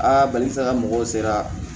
balikuya ka mɔgɔw sera